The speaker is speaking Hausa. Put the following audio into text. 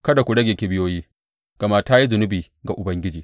Kada ku rage kibiyoyi, gama ta yi zunubi ga Ubangiji.